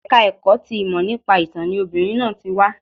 Ẹ̀ka ẹ̀kọ́ ti ìmọ̀ nípa ìtán ni obìnrin náà ti wá